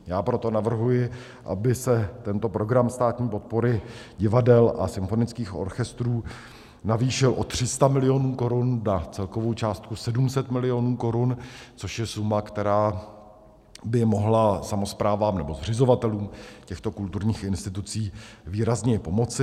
Já proto navrhuji, aby se tento program státní podpory divadel a symfonických orchestrů navýšil o 300 milionů korun na celkovou částku 700 milionů korun, což je suma, která by mohla samosprávám nebo zřizovatelům těchto kulturních institucí výrazně pomoci.